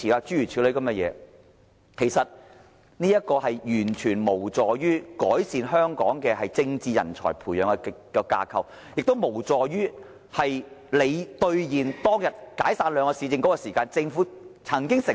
這種做法完全無助於改善本港培養政治人才的架構，亦無助於政府兌現當天解散兩個市政局時所作的承諾。